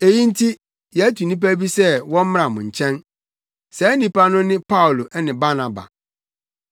Eyi nti yɛatu nnipa bi sɛ wɔmmra mo nkyɛn. Saa nnipa no ne Paulo ne Barnaba